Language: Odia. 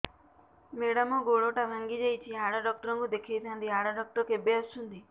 ମେଡ଼ାମ ଗୋଡ ଟା ଭାଙ୍ଗି ଯାଇଛି ହାଡ ଡକ୍ଟର ଙ୍କୁ ଦେଖାଇ ଥାଆନ୍ତି ହାଡ ଡକ୍ଟର କେବେ ଆସୁଛନ୍ତି